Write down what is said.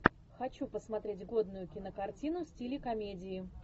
хочу посмотреть годную кинокартину в стиле комедии